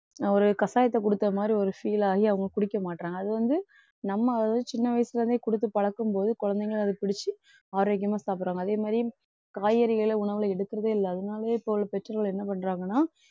நான் ஒரு கஷாயத்தை குடுத்த மாதிரி ஒரு feel ஆகி அவங்க குடிக்க மாட்றாங்க. அது வந்து நம்ம அதுவந்து சின்ன வயசுல இருந்தே குடுத்து பழக்கும் போது குழந்தைகளும் அதை பிடிச்சு ஆரோக்கியமா சாப்பிடுறாங்க அதே மாதிரி காய்கறிகளை உணவுல எடுக்கிறதே இல்லை அதனாலேயே இப்போ உள்ள பெற்றோர்கள் என்ன பண்றாங்கன்னா